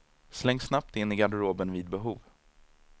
Slängs snabbt in i garderoben vid behov.